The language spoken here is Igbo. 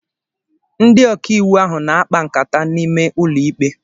Ndị ọkàiwụ ahụ na-akpa nkata n'ime ụlọ ikpe